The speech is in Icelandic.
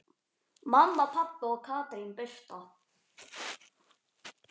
Mamma, pabbi og Katrín Birta.